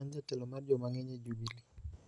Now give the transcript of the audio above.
An jatelo mar joma ng�eny e Jubili,